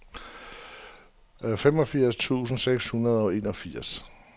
femogfirs tusind seks hundrede og enogfirs